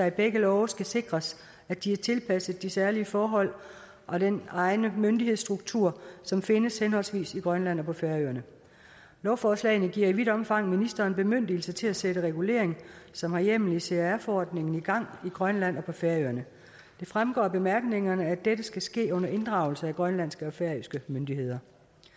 i begge love skal sikres at de er tilpasset de særlige forhold og den egne myndighedsstruktur som findes henholdsvis i grønland og på færøerne lovforslagene giver i vidt omfang ministeren bemyndigelse til at sætte regulering som har hjemmel i crr forordningen i gang i grønland og på færøerne det fremgår af bemærkningerne at dette skal ske under inddragelse af grønlandske og færøske myndigheder